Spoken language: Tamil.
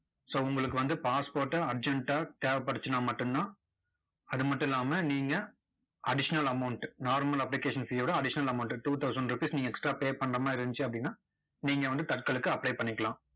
so உங்களுக்கு வந்து passport டு urgent ஆ தேவைப்பட்டுச்சுன்னா மட்டும் தான், அது மட்டும் இல்லாம நீங்க additional amount normal application fee ய விட additional amount two thousand rupees நீங்க extra pay பண்ற மாதிரி இருந்துச்சு அப்படின்னா, நீங்க வந்து தட்கலுக்கு apply பண்ணிக்கலாம்.